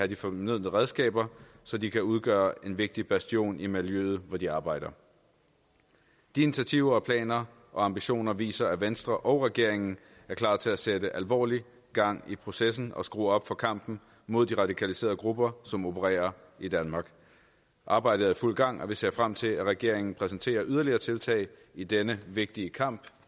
de fornødne redskaber så de kan udgøre en vigtig bastion i miljøet hvor de arbejder de initiativer planer og ambitioner viser at venstre og regeringen er klar til at sætte alvorlig gang i processen og skrue op for kampen mod de radikaliserede grupper som opererer i danmark arbejdet er i fuld gang og vi ser frem til at regeringen præsenterer yderligere tiltag i denne vigtige kamp